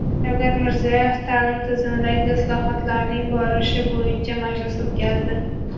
Shavkat Mirziyoyev ta’lim tizimidagi islohotlarning borishi bo‘yicha majlis o‘tkazdi.